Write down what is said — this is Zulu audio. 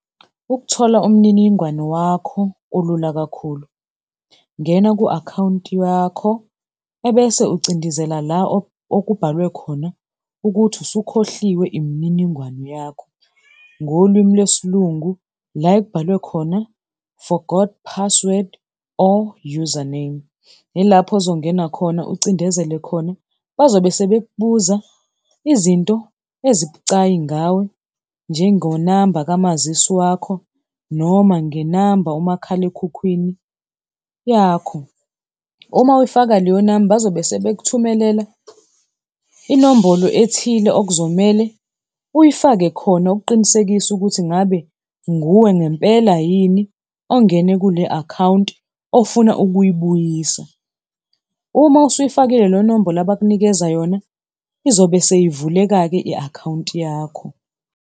Ukuthola umniningwane wakho kulula kakhulu, ngena ku-akhawunti yakho ebese ucindezela la okubhalwe khona ukuthi usukhohliwe imininingwane yakho, ngolwimi lwesiLungu la ekubhalwe khona forgot password or username. Ilapho ozongena khona ucindezele khona, bazobe sebekubuza izinto ezibucayi ngawe njengonamba kamazisi wakho, noma ngenamba umakhalekhukhwini yakho. Uma uyifaka leyo namba bazobe sebekuthumelela inombolo ethile okuzomele uyifake khona ukuqinisekisa ukuthi ngabe nguwe ngempela yini ongene kule akhawunti ofuna ukuyibuyisa. Uma usuyifakile leyo nombolo abakunikeza yona izobe seyivuleka-ke i-akhawunti yakho.